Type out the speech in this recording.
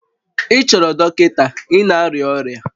Ị chọrọ dọkịta, ị na-arịa ọrịa